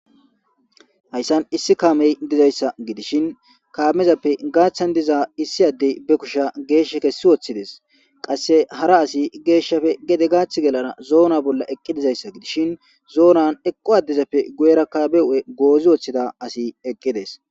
hayssan issi kaamey dizayssa gidishin kaamezappe gaaththan diza issi addey be kusha geeshsh kessi woththides qasse hara asi geeshshafe gede gaath gelana zoona bolla eqqi dizayssa gidishin zoonan eqqu addezappe guyera kaabe u7e goozi woththida asi eqqides